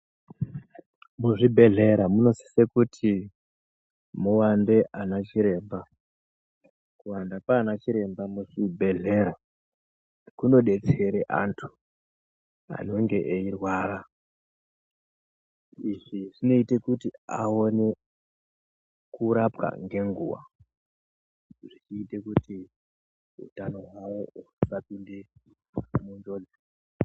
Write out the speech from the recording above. Muzvibhedhlera munosise kuti muwande ana chiremba. Kuwanda kwaana chiremba muzvibhedhlera kunodetsere anthu anonge iyirwara izvi zvinoite kuti awone kurapwa ngenguwa zvechiite kuti uthano hwawo husapinde munjodzi.